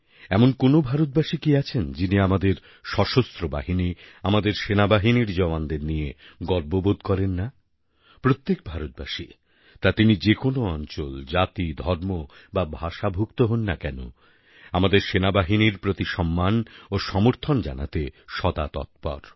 এমন কোনও ভারতবাসী কি আছেন যিনি আমাদের সশস্ত্র বাহিনী আমাদের সেনাবাহিনীর জওয়ানদের নিয়ে গর্ব বোধ করেন নাপ্রত্যেক ভারতবাসী তা তিনি যে কোনও অঞ্চল জাতি ধর্ম বা ভাষাভুক্ত হোন না কেন আমাদের সেনাবাহিনীর প্রতি সম্মান ও সমর্থন জানাতে সদা তৎপর